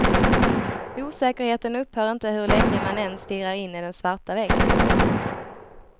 Osäkerheten upphör inte hur länge man än stirrar in i den svarta väggen.